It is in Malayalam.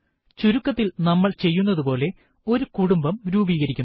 ചുരുക്കത്തിൽ നമ്മൾ ചെയ്യുന്നതുപോലെ ഒരു കുടുംബം രൂപീകരിക്കുന്നു